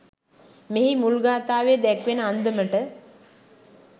මෙහි මුල් ගාථාවේ දැක්වෙන අන්දමට